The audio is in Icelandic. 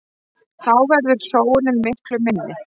Þá verður sóunin miklu minni.